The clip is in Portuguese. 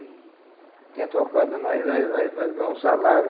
Tinha tocado nós, nós nós nós ganhamos salário.